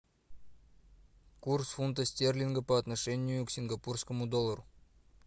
курс фунта стерлинга по отношению к сингапурскому доллару